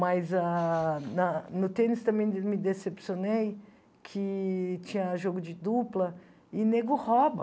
Mas ah na no tênis também me me decepcionei que tinha jogo de dupla e nego rouba.